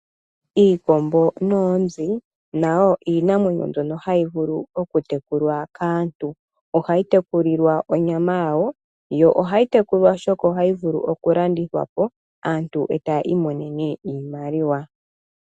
Iikombo noonzi nayo iimamwenyo mbyoka hayi vulu okutekulwa kaantu ohayi tekulilwa onyama yawo yo ohayi tekulwa oshoka ohayi vulu okulandithwa po aantu e taya imonene iimaliwa.